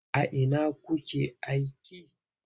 A ina kuke aiki?